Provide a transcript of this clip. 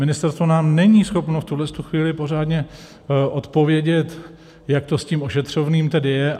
Ministerstvo nám není schopno v tuhle chvíli pořádně odpovědět, jak to s tím ošetřovným tedy je.